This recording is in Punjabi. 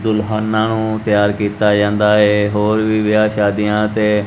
ਦੁਲਹਾਨਾ ਤਿਆਰ ਕੀਤਾ ਜਾਂਦਾ ਹੈ ਹੋਰ ਵੀ ਵਿਆਹ ਸ਼ਾਦੀਆਂ ਤੇ--